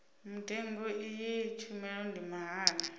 mutengo iyi tshumelo ndi mahala